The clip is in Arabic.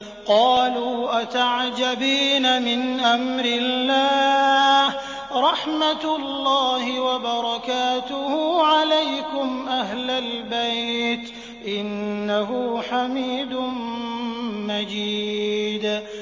قَالُوا أَتَعْجَبِينَ مِنْ أَمْرِ اللَّهِ ۖ رَحْمَتُ اللَّهِ وَبَرَكَاتُهُ عَلَيْكُمْ أَهْلَ الْبَيْتِ ۚ إِنَّهُ حَمِيدٌ مَّجِيدٌ